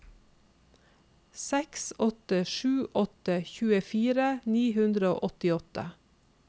seks åtte sju åtte tjuefire ni hundre og åttiåtte